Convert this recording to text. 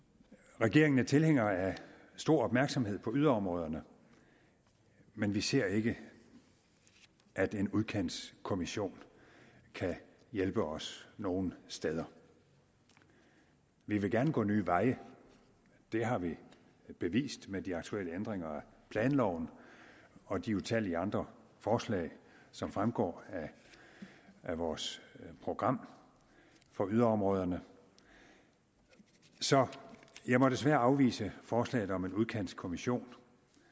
regeringen er tilhænger af stor opmærksomhed på yderområderne men vi ser ikke at en udkantskommission kan hjælpe os nogen steder vi vil gerne gå nye veje det har vi bevist med de aktuelle ændringer af planloven og de utallige andre forslag som fremgår af vores program for yderområderne så jeg må desværre afvise forslaget om en udkantskommission